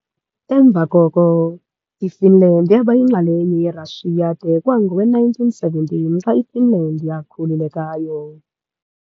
Emva koko, iFinland yaba yinxalenye yeRashiya de kwangowe-1917 xa iFinland yakhululekayo.